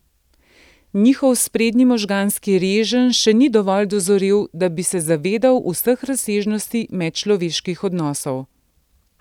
Njihov sprednji možganski reženj še ni dovolj dozorel, da bi se zavedal vseh razsežnosti medčloveških odnosov.